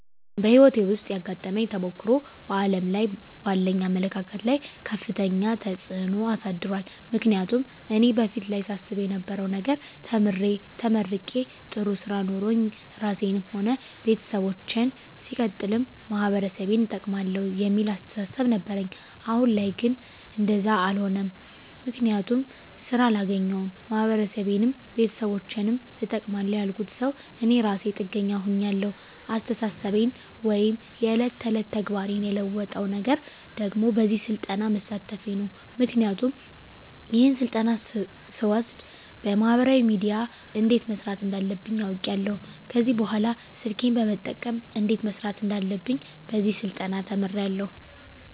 በህይወቴ ዉስጥ ያጋጠመኝ ተሞክሮ በዓለም ላይ ባለኝ አመለካከት ላይ ከፍተኛ ተጽዕኖ አሳድሯል ምክንያቱም እኔ በፊት ላይ ሳስብ የነበረዉ ነገር ተምሬ ተመርቄ ጥሩ ስራ ኖሮኝ ራሴንም ሆነ ቤተሰቦቸን ሲቀጥልም ማህበረሰቤን እጠቅማለዉ የሚል አስተሳሰብ ነበረኝ አሁን ላይ ግን እንደዛ አሎነም ምክንያቱም ስራ አላገኘዉም ማህበረሰቤንም ቤተሰቦቸንም እጠቅማለዉ ያልኩት ሰዉ እኔ እራሴ ጥገኛ ሁኛለዉ አስተሳሰቤን ወይም የዕለት ተዕለት ተግባሬን የለወጠዉ ነገር ደግሞ በዚህ ስልጠና መሳተፌ ነዉ ምክንያቱም ይሄን ስልጠና ስወስድ በማህበራዊ ሚድያ እንዴት መስራት እንዳለብኝ አዉቄያለዉ ከዚህ በኅላ ስልኬን በመጠቀም እንዴት መስራት እንዳለብኝ በዚህ ስልጠና ተምሬያለዉ